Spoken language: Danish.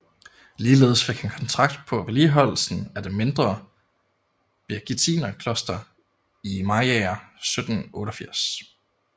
Ligeledes fik han kontrakt på vedligeholdelsen af det mindre Birgittinerkloster i Mariager 1788